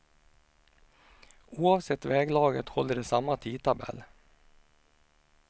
Oavsett väglaget håller de samma tidtabell.